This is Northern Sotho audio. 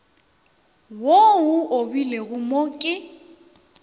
wo o obilwego mo ke